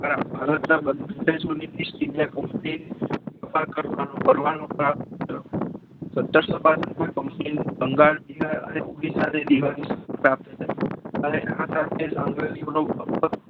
ભારતના બંધારણને